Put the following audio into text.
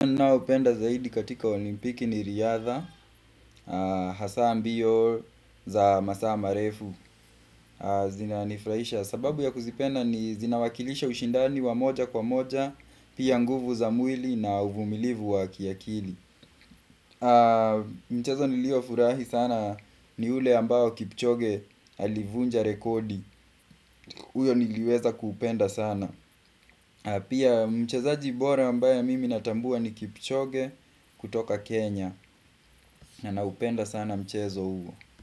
Ninoupenda zaidi katika olimpiki ni riadha, hasaa mbio za masaa marefu, zinanifurahisha. Sababu ya kuzipenda ni zinawakilisha ushindani wa moja kwa moja, pia nguvu za mwili na uvumilivu wa kiakili. Mchezo niliofurahi sana ni ule ambao kipchoge alivunja rekodi. Huyo niliweza kuupenda sana. Pia mchezaji bora ambaye mimi natambua ni kipchoge kutoka Kenya. Na naupenda sana mchezo huo.